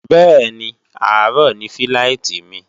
bẹ́ẹ̀ni, àárọ̀ ni fíláìtí mi